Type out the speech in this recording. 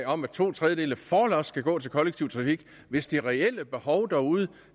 om at to tredjedele forlods skal gå til kollektiv trafik hvis det reelle behov derude